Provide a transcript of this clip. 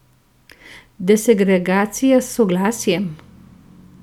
Desegregacija s soglasjem?